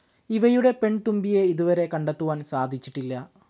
ഇവയുടെ പെൺതുമ്പിയെ ഇതുവരെ കണ്ടെത്തുവാൻ സാധിച്ചിട്ടില്ല.